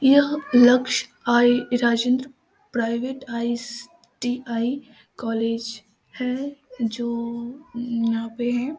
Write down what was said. यह लक्ष्य आई राजेन्द्र प्राइवेट आई.टी.आई. कॉलेज है जो यहाँ पर है ।